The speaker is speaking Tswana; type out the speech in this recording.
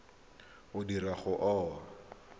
o dirwang ga o a